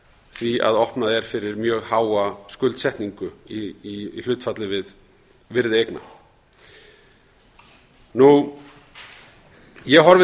því að opnað er fyrir mjög háa skuldsetningu í hlutfalli við virði eigna ég horfi